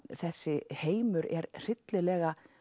þessi heimur er hryllilega